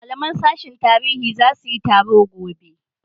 malaman sashin tarihi zasu yi taro gobe